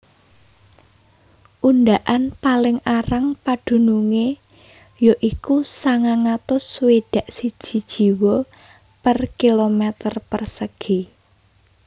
Undaan paling arang padunungé ya iku sangang atus swidak siji jiwa per kilometer persegi